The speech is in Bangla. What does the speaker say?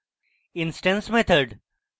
instance methods